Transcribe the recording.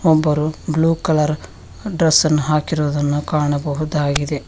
ಒಬ್ಬರು blue colour ಡ್ರಸ್ಸನ್ನು ಹಾಕಿರುವುದನ್ನು ಕಾಣಬಹುದಾಗಿದೆ.